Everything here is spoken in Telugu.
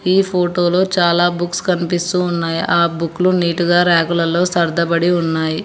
ఈ ఫోటో లో చాలా బుక్స్ కన్పిస్తూ ఉన్నాయి ఆ బుకులు నీట్ గా రాక్ లలో సర్దబడి ఉన్నాయి.